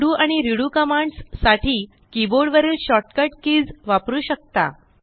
undo आणि redo commands साठी keyboard वरील शॉर्ट कट कीज वापरू शकता